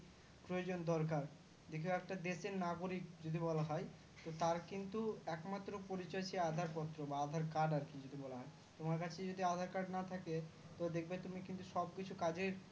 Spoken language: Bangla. প্রয়োজন দরকার দেখি ও একটা দেশের নাগরিক যদি বলা হয় তার কিন্তু একমাত্র পরিচয় সেই aadhar card পত্র বা aadhar card আর কি যেটা বলা হয় তোমার কাছে যদি aadhar card না থাকে তো দেখবে তুমি সব কিছু কাজে